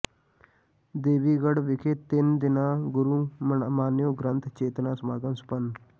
ਦੇਵੀਗੜ੍ਹ ਵਿਖੇ ਤਿੰਨ ਦਿਨਾਂ ਗੁਰੂ ਮਾਨਿਓ ਗ੍ਰੰਥ ਚੇਤਨਾ ਸਮਾਗਮ ਸੰਪੰਨ